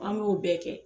An b'o bɛɛ kɛ